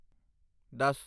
ਦਸ